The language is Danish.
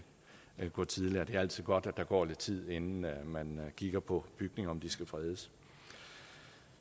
gå tidligere det er altid godt der går lidt tid inden man kigger på bygninger skal fredes